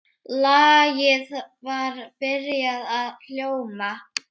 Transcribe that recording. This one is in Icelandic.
Lagið var byrjað að hljóma.